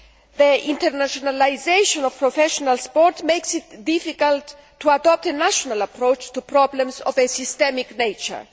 The internationalisation of professional sport makes it difficult to adopt a national approach to problems of a systemic nature.